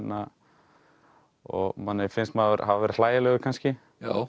og manni finnst maður hafa verið hlægilegur kannski